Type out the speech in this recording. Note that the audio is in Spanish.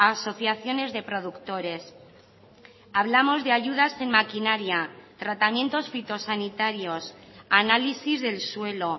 asociaciones de productores hablamos de ayudas en maquinaria tratamientos fitosanitarios análisis del suelo